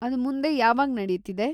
ಅದ್‌ ಮುಂದೆ ಯಾವಾಗ್ ನಡೀತಿದೆ?